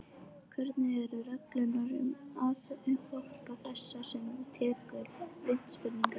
Hverjar eru reglurnar um aðhlaup þess sem tekur vítaspyrnu?